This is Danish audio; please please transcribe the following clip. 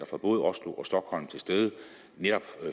fra både oslo og stockholm netop